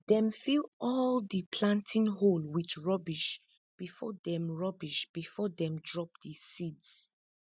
dem fill all di planting hole with rubbish before dem rubbish before dem drop di seeds